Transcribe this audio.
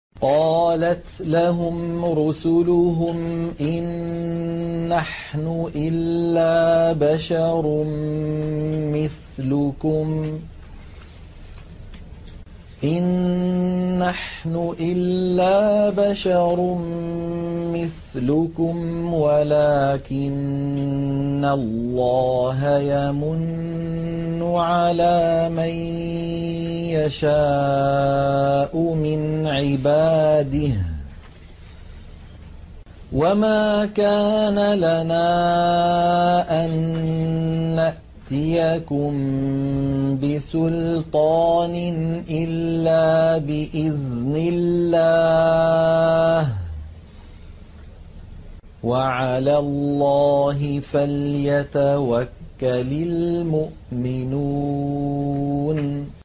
قَالَتْ لَهُمْ رُسُلُهُمْ إِن نَّحْنُ إِلَّا بَشَرٌ مِّثْلُكُمْ وَلَٰكِنَّ اللَّهَ يَمُنُّ عَلَىٰ مَن يَشَاءُ مِنْ عِبَادِهِ ۖ وَمَا كَانَ لَنَا أَن نَّأْتِيَكُم بِسُلْطَانٍ إِلَّا بِإِذْنِ اللَّهِ ۚ وَعَلَى اللَّهِ فَلْيَتَوَكَّلِ الْمُؤْمِنُونَ